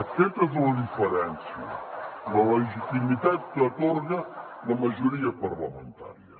aquesta és la diferència la legitimitat que atorga la majoria parlamentària